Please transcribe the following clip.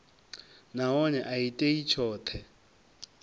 nahone a i tei tshoṱhe